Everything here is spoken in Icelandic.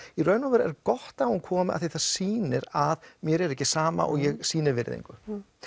í raun og veru er gott að hún komi því það sýnir að mér er ekki sama og ég sýni virðingu